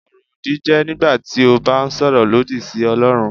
Ọ̀rọ̀-òdì jẹ́ nígbà tí o bá ń sọ̀rọ̀ lòdì sí Ọlọrun.